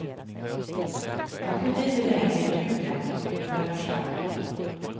Jag kunde inte längre ljuga för mig själv.